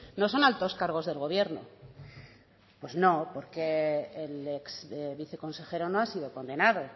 no son altos cargos del gobierno pues no porque el ex viceconsejero no ha sido condenado